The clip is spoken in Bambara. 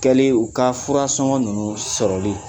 Kɛlen u ka furasɔngɔ ninnu sɔrɔlen